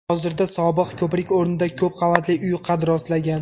Hozirda sobiq ko‘prik o‘rnida ko‘p qavatli uy qad rostlagan.